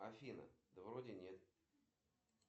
афина да вроде нет